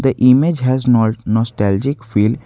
The image has nolt nostalgic feel.